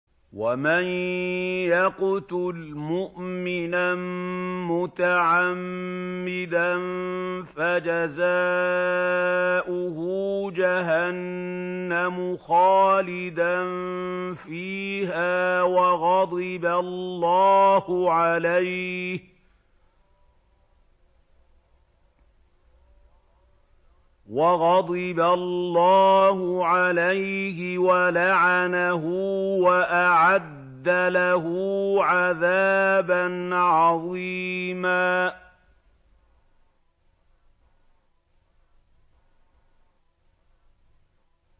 وَمَن يَقْتُلْ مُؤْمِنًا مُّتَعَمِّدًا فَجَزَاؤُهُ جَهَنَّمُ خَالِدًا فِيهَا وَغَضِبَ اللَّهُ عَلَيْهِ وَلَعَنَهُ وَأَعَدَّ لَهُ عَذَابًا عَظِيمًا